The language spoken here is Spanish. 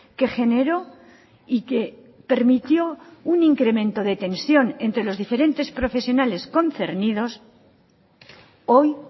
que generó y que permitió un incremento de tensión entre los diferentes profesionales concernidos hoy